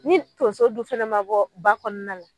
Ni tonso dun fɛnɛ ma bɔ ba kɔnɔna la